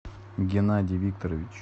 геннадий викторович